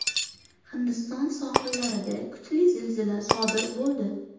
Hindiston sohillarida kuchli zilzila sodir bo‘ldi.